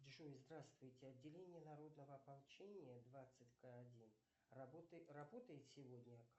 джой здравствуйте отделение народного ополчения двадцать к один работает сегодня